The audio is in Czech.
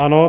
Ano.